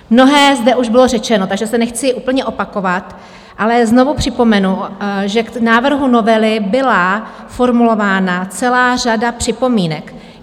Mnohé zde už bylo řečeno, takže se nechci úplně opakovat, ale znovu připomenu, že k návrhu novely byla formulována celá řada připomínek.